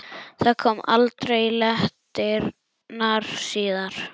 Það kom aldrei í leitirnar síðar.